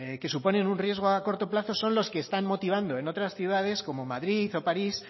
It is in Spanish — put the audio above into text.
que suponen un riesgo a corto plazo son los que están motivando en otras ciudades como madrid o parís